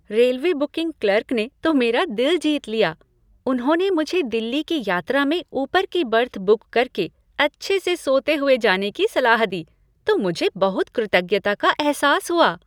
Railway booking clerk ने तो मेरा दिल जीत लिया। उन्होंने मुझे दिल्ली की यात्रा में ऊपर की बर्थ बुक करके अच्छे से सोते हुए जाने की सलाह दी तो मुझे बहुत कृतज्ञता का एहसास हुआ।